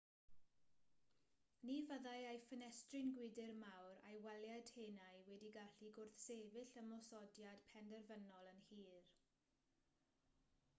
ni fyddai ei ffenestri gwydr mawr a'i waliau tenau wedi gallu gwrthsefyll ymosodiad penderfynol yn hir